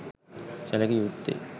සැලකිය යුත්තේ